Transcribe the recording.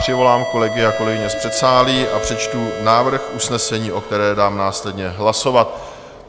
Přivolám kolegy a kolegyně z předsálí a přečtu návrh usnesení, o kterém dám následně hlasovat.